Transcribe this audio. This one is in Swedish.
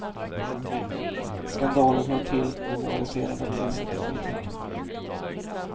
Skandalen hör till när moraliserandet ersätter politiken.